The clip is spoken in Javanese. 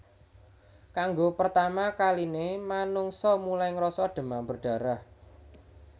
Kanggo pertama kaline manungsa mulai ngrasa demam berdarah